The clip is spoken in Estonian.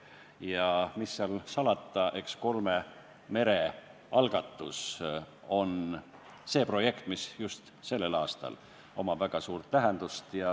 Ja mis seal salata, eks kolme mere algatus ole see projekt, mis just sel aastal omab väga suurt tähendust.